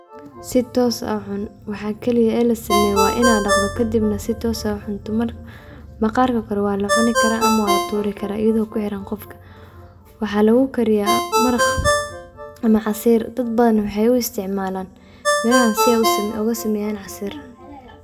Si toos ah waxa keliye ee la sameeye waa inad dhaqdo kadibna si toos ad u cunto marka maqarka kore waa la cuni karaa ama waa la turi karaa iyido kuxiran qofka, waxa lugu kariya maraq macaasiir dad badan waxay u isticmaalan mirahan si ay oga saneeyan casiir